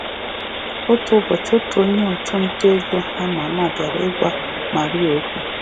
Otu ụbọchị, otu onye ọchụ nta ego ama ama bịara ịgwa Maria okwu. um